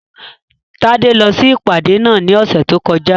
Tádé lọ sí ìpàdé náà ní ọ̀sẹ̀ tó kọjá